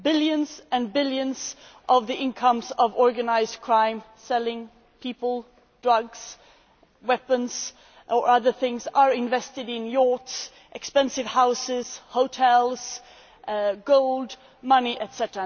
Billions and billions of the income from organised crime selling people, drugs, weapons or other things are invested in yachts, expensive houses, hotels, gold, money, etc.,